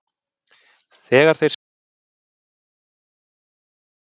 Þegar þeir skildu sagði Þórkell